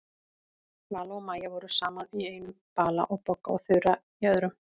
Vala og Maja voru saman í einum bala og Bogga og Þura í öðrum.